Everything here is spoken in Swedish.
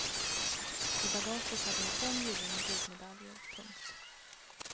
I bagaget har hon fem gyllene guldmedaljer. punkt